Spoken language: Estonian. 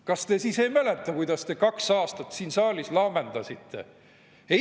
Kas te siis ei mäleta, kuidas te kaks aastat siin saalis laamendasite?